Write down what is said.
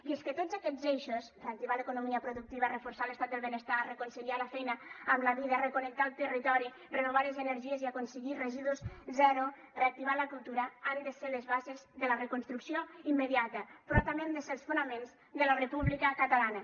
i és que tots aquests eixos reactivar l’economia productiva reforçar l’estat del benestar reconciliar la feina amb la vida reconnectar el territori renovar les energies i aconseguir residus zero reactivar la cultura han de ser les bases de la reconstrucció immediata però també han de ser els fonaments de la república catalana